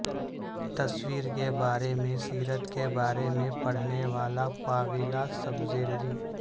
تصویر کے بارے میں سیرت کے بارے میں پڑھنے والا پاولا سپزیریری